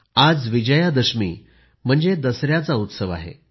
आज विजयादशमी म्हणजे दसऱ्याचा उत्सव आहे